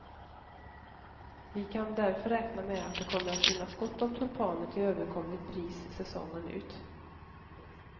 Vi kan därför räkna med att det kommer att finnas gott om tulpaner till överkomligt pris säsongen ut.